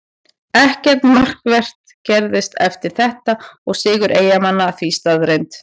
Ekkert markvert gerðist eftir þetta og sigur Eyjamanna því staðreynd.